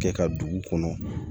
Kɛ ka dugu kɔnɔ